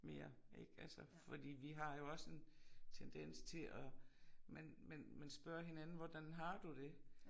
Mere ik altså fordi vi har jo også en tendens til at man man man spørger hinanden hvordan har du det